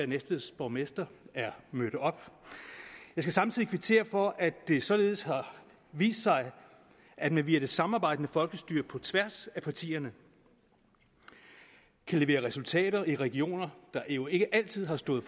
næstveds borgmester er mødt op jeg skal samtidig kvittere for at det således har vist sig at vi i det samarbejdende folkestyre på tværs af partierne kan levere resultater i regioner der jo ikke altid har stået